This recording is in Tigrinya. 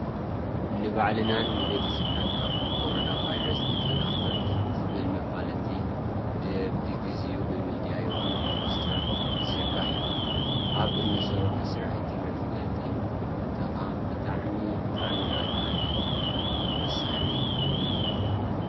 ንባዕልናን ንቤተሰብናን ካብ ኮሮና ቫይረስ ንከላከል ዝብል መፋለጢ በቢግዝኡ ብሚድያ ይኩን ብፖስተራት ይዝርጋሕ እዩ። ኣብ እንሰርሖ ስራሕቲ መፋለጢ ምጥቃም ብጣዕሚ! ብጣዕሚ ኣድላይ እዩ ወሳኒ።